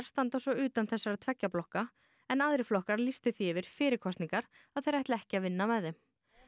standa svo utan þessara tveggja blokka en aðrir flokkar lýstu því yfir fyrir kosningar að þeir ætli ekki að vinna með þeim